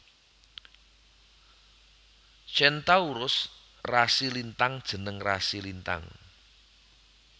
Centaurus rasi lintang jeneng rasi lintang